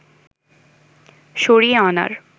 সরিয়ে আনার